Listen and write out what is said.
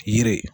Yiri